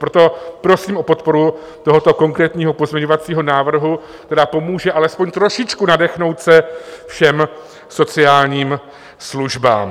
Proto prosím o podporu tohoto konkrétního pozměňovacího návrhu, který pomůže alespoň trošičku nadechnout se všem sociálním službám.